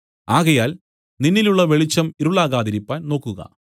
ആകയാൽ നിന്നിലുള്ള വെളിച്ചം ഇരുളാകാതിരിപ്പാൻ നോക്കുക